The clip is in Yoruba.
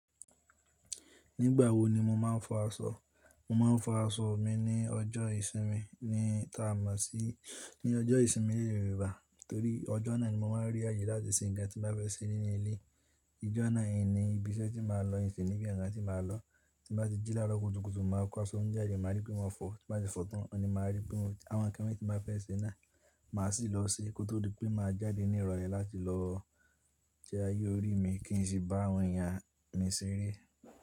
Nígbà wo ni mo máa ń fọ aṣọ? Mo máa ń fọ aṣọ mi ní ọjọ́ ìsinmi, ta mọ̀ sí ní ọjọ́ ìsinmi léèrè rẹ bà. Torí ọjọ́ náà ni mo máa ń rí àyè láti ṣe ǹkan tí mo fẹ́ ṣe nínú ilé. Ìjọ́ náà hiń ni ibiṣẹ́ tí màá lọ hiń sì níbi ǹkan tí màá lọ. Tí nbá ti jí làárọ̀ kùtùkùtù, màá kó aṣọ mi jáde màá rí pé mo fọ̀. Tí bá ti fọ̀ tán, ni màá rí pé àwọn ǹkan tí mo fẹ́ ṣe náà, màá sì lọ ṣe kó di tó pé màá jáde ní ìrọ̀lẹ́ láti lọ jẹ ayé orí mi kí n sì bá àwọn ẹ̀yàn mi ṣeré.